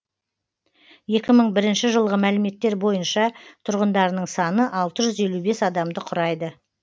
екі мың бірінші жылғы мәліметтер бойынша тұрғындарының саны алтыжүз елу бес адамды құрайды